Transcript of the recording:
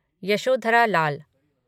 Yashodhara Lal